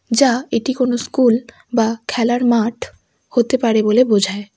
যা এটি কোনও স্কুল বা খেলার মাঠ হতে পারে বলে বোঝায়।